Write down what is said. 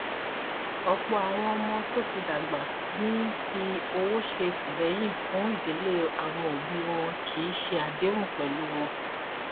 lẹyìn ìsèwádìí àwọn ọjà orí ayélujára mo rí àwọn ọjà irú kannáà ní ẹdínwó púpọ